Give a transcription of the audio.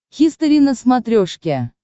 хистори на смотрешке